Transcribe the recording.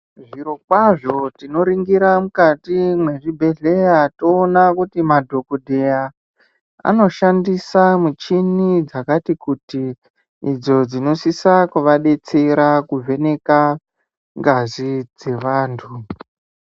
Zviro kwazvo tinoringira mukati mezvibhedlera toona kuti madhokotera anoshandisa muchini dzakati kuti idzo dzinosisa kuvabetsera kuvheneka ngazi dzevantu